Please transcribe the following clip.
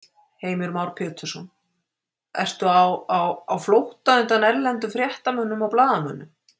Heimir Már Pétursson: Ertu á, á, á flótta undan erlendum fréttamönnum og blaðamönnum?